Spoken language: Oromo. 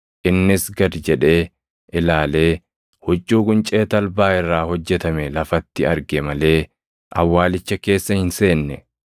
Innis gad jedhee ilaalee huccuu quncee talbaa irraa hojjetame lafatti arge malee awwaalicha keessa hin seenne.